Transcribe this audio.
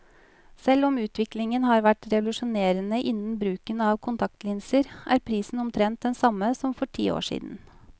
Selv om utviklingen har vært revolusjonerende innen bruken av kontaktlinser, er prisen omtrent den samme som for ti år siden.